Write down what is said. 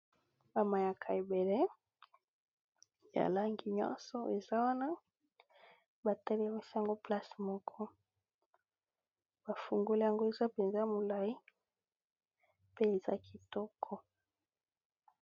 Bamayaka ebele yalangi nyonso eza wana batelemesango place moko bafungole yango eza mpenza molai pe eza kitoko